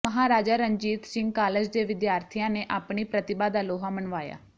Maharaja Ranjit Singh college ਦੇ ਵਿਦਿਆਰਥੀਆਂ ਨੇ ਆਪਣੀ ਪ੍ਰਤਿਭਾ ਦਾ ਲੋਹਾ ਮਨਵਾਇਆ